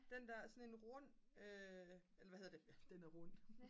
den der sådan en rund eller hvad hedder det den er rund